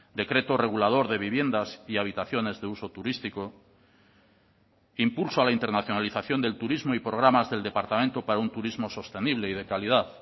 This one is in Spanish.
decreto regulador de viviendas y habitaciones de uso turístico impulso a la internacionalización del turismo y programas del departamento para un turismo sostenible y de calidad